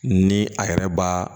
Ni a yɛrɛ b'a